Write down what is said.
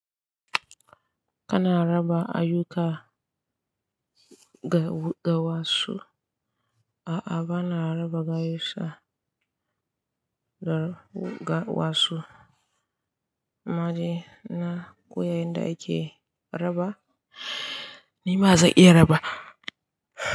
Kana raba ayyuka ga wasu? A'a, ba na raba ayyuka ga wasu. Amma dai, na koya yanda ake raba, ni ma zan iya raba.